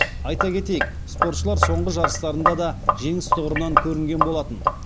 айта кетейік спортшылар соңғы жарыстарында да жеңіс тұғырынан көрінген болатын